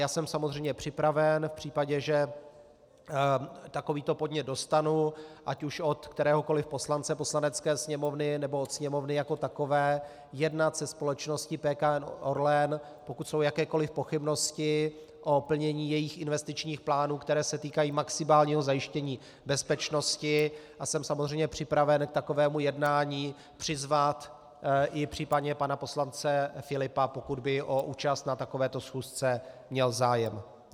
Já jsem samozřejmě připraven v případě, že takovýto podnět dostanu ať už od kteréhokoliv poslance Poslanecké sněmovny, nebo od Sněmovny jako takové jednat se společností PKN Orlen, pokud jsou jakékoliv pochybnosti o plnění jejích investičních plánů, které se týkají maximálního zajištění bezpečnosti, a jsem samozřejmě připraven k takovému jednání přizvat i případně pana poslance Filipa, pokud by o účast na takovéto schůzce měl zájem.